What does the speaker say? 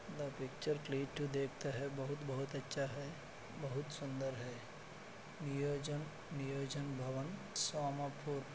picture क्लीट टू देखता है बहुत-बहुत अच्छा है बहुत सुंदर है नियोजन नियोजन सोमापुर--